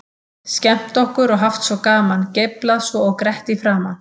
Skemmt okkur og haft svo gaman, geiflað svo og grett í framan.